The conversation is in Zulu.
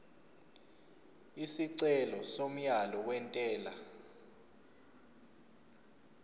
isicelo somyalo wentela